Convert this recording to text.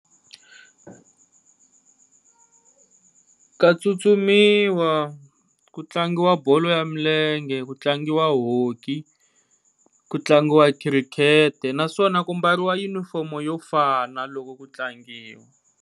Ka tsutsumisiwa ku tlangiwa bolo ya milenge, ku tlangiwa hockey, ku tlangiwa cricket naswona ku mbariwa junifomo yo fana loko ku tlangiwa.